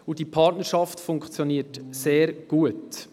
Diese Partnerschaft funktioniert sehr gut.